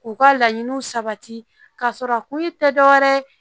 K'u ka laɲiniw sabati k'a sɔrɔ a kun ye tɛ dɔ wɛrɛ ye